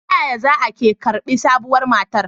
Ta yaya za a ke karbi sabuwar matar?